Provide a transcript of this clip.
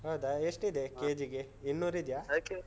ಹೌದಾ ಎಷ್ಟಿದೆ KG ಗೆ? ಇನ್ನೂರಿದ್ಯಾ? ಅದಿಕ್ಕೆ.